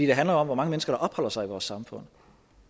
det handler jo om hvor mange mennesker der opholder sig i vores samfund